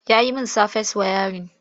Ya yi min safes wayarin.